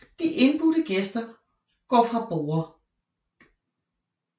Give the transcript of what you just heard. De indbudte gæster går fra borde